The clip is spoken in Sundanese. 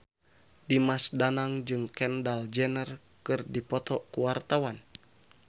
Dimas Danang jeung Kendall Jenner keur dipoto ku wartawan